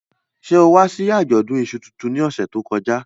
Ṣe o wa si ajọdun iṣú tuntun ni ọsẹ to kọja?